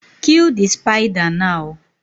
Kill the spider now